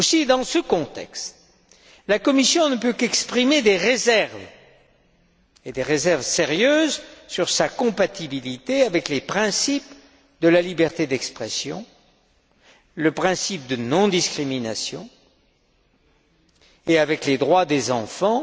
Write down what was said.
Dans ce contexte, la Commission ne peut qu'exprimer des réserves, et des réserves sérieuses, sur la compatibilité de cette loi avec les principes de la liberté d'expression, le principe de non discrimination, et avec les droits des enfants,